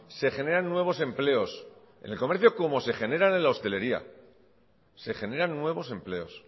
se generan nuevos empleos en el comercio como se generan en la hostelería se generan nuevos empleos